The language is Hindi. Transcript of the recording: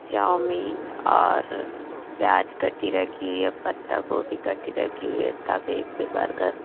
चावमीन और प्याज कटी रखी हुई है पत्ता गोभी कटी रखी हुई है तवे पे बर्गर --